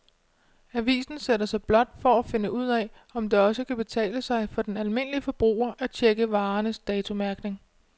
Avisen sætter sig blot for at finde ud af, om det også kan betale sig for den almindelige forbruger at checke varernes datomærkning.